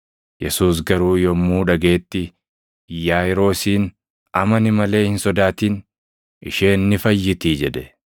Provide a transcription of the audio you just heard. Yesuus garuu yommuu dhagaʼetti Yaaʼiiroosiin, “Amani malee hin sodaatin; isheen ni fayyitii” jedhe.